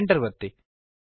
Enter ಅನ್ನು ಒತ್ತಿರಿ